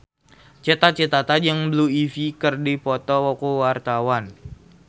Cita Citata jeung Blue Ivy keur dipoto ku wartawan